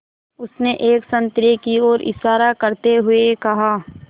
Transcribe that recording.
उसने एक संतरे की ओर इशारा करते हुए कहा